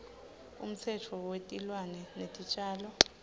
umtsetfo wetilwane netitjalo